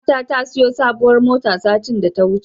Ƙawata ta siyo sabuwar mota satin da ya wuce.